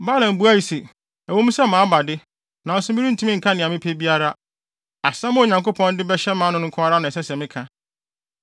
Balaam buae se, “Ɛwɔ mu sɛ maba de, nanso merentumi nka nea mepɛ biara. Asɛm a Onyankopɔn de bɛhyɛ mʼano no nko ara na ɛsɛ sɛ meka.”